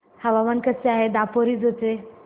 हवामान कसे आहे दापोरिजो चे